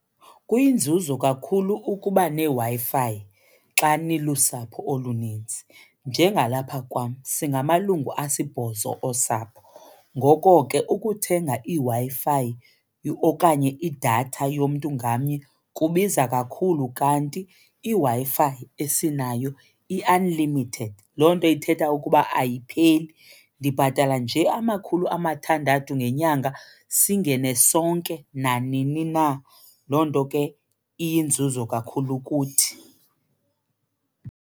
Kuyinzuzo kakhulu ukuba neWi-Fi xa nilusapho olunintsi njengalapha kwam. Singamalungu asibhozo osapho ngoko ke ukuthenga iWi-Fi okanye idatha yomntu ngamnye kubiza kakhulu kanti iWi-Fi esinayo i-unlimited, loo nto ithetha ukuba ayipheli. Ndibhatala nje amakhulu amathandathu ngenyanga singene sonke nanini na. Loo nto ke iyinzuzo kakhulu kuthi.